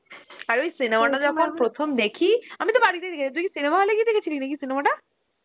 আর ওই cinema টা আমি প্রথম দেখি আমি তো বাড়িতে দেখেছি তুই কি cinema হল এ গিয়ে দেখেছিলি নাকি cinema টা?